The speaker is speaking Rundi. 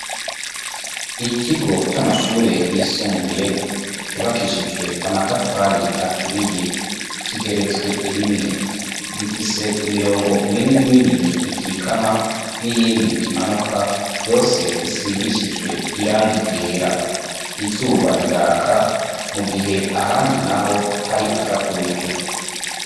Ikigo camashure yisumbuye cubakishijwe amatafari aturiye kigeretswe rimwe ,gifise imirongo minini minini ikikama niyindi imanuka yose isigishijwe irangi ryera ,izuba riraka mugihe ahandi hari agatutu .